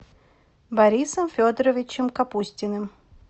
борисом федоровичем капустиным